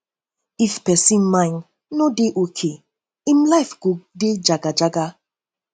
if persin mind um no de okay um im life go de jaga jaga